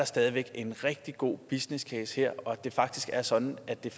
stadig væk er en rigtig god businesscase her og at det rent faktisk er sådan at det